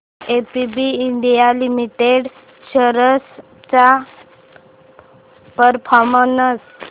ABB India limited shares चा performance